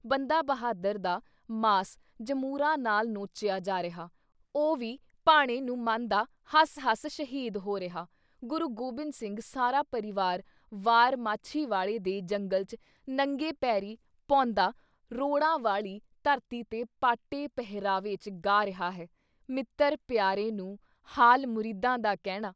ਬੰਦਾ ਬਹਾਦਰ ਦਾ ਮਾਸ ਜਮੂਰਾਂ ਨਾਲ ਨੋਚਿਆ ਜਾ ਰਿਹਾ- ਉਹ ਵੀ ਭਾਣੇ ਨੂੰ ਮੰਨਦਾ ਹੱਸ-ਹੱਸ ਸ਼ਹੀਦ ਹੋ ਰਿਹਾ -ਗੁਰੂ ਗੋਬਿੰਦ ਸਿੰਘ ਸਾਰਾ ਪਰਿਵਾਰ ਵਾਰ ਮਾਛੀਵਾੜੇ ਦੇ ਜੰਗਲ 'ਚ ਨੰਗੇ ਪੈਰੀਂ ਭੌਂਦਾ ਰੋੜਾਂ ਵਾਲੀ ਧਰਤੀ 'ਤੇ ਪਾਟੇ ਪਹਿਰਾਵੇ 'ਚ ਗਾ ਰਿਹਾ ਹੈ- ਮਿੱਤਰ ਪਿਆਰੇ ਨੂੰ, ਹਾਲ ਮੁਰੀਦਾਂ ਦਾ ਕਹਿਣਾ।"